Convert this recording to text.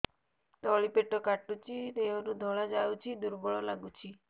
ତଳି ପେଟ କାଟୁଚି ଦେହରୁ ଧଳା ଯାଉଛି ଦୁର୍ବଳ ଲାଗୁଛି